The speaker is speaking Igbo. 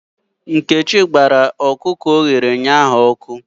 Nkechi gbara ọkụkọ ọ chụrụ ụnyahụ ọkụ.